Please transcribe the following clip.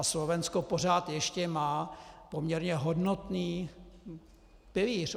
A Slovensko pořád ještě má poměrně hodnotný pilíř.